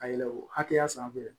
Ka yɛlɛ o hakɛya sanfɛ